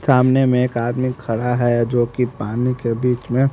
सामने में एक आदमी खड़ा है जोकि पानी के बीच मे --